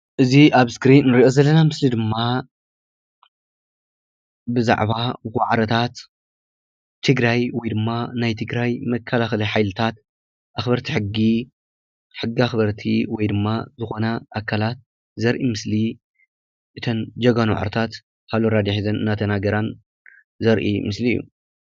እዚ ኣብ እስክሪን ንርኦ ዘለና ምስሊ ድማ ብዛዕባ ዋዕሮታት ትግራይ ወይድማ ናይ ትግራይ መከላከሊ ሓይሊታት ኣክበርቲ ሕጊ ሕጊ ኣክበርቲ ወይድማ ዝኮና ኣካላት ዘርኢ ምስሊ እተን ጀጋኑ ዋዕሮታት ሃሎ ራድዮ ሒዘን እናተናገራን ዘርኢ ምስሊ እዩ።